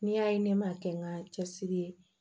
N'i y'a ye ne m'a kɛ n ka cɛsiri